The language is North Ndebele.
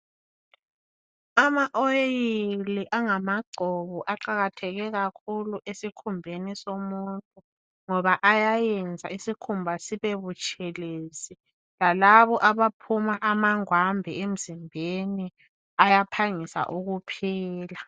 Ama oyili angama gcobo aqakatheke kakhulu esikhumbeni somuntu ngoba ayayenza isikhumba sibe butshelezi, lalabo abaphuma amangwambe emzimbeni ayaphangisa ukuphela